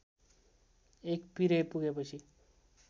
एक पिरे पुगेपछि